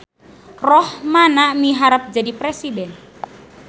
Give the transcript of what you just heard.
Rohmana miharep jadi presiden